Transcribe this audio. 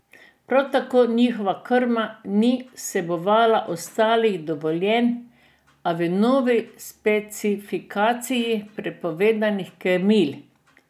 Prav tako njihova krma ni vsebovala ostalih dovoljenih, a v novi specifikaciji prepovedanih krmil.